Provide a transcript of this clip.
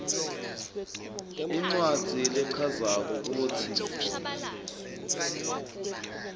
incwadzi lechazako kutsi